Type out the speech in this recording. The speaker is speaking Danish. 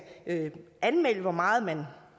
anmelde hvor meget man